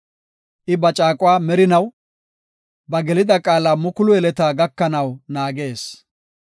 I ba caaquwa merinaw, ba gelida qaala mukulu yeleta gakanaw naagees.